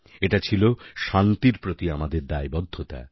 এটা ছিল শান্তির প্রতি আমাদের দায়বদ্ধতা